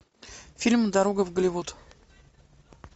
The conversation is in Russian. фильм дорога в голливуд